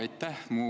Aitäh!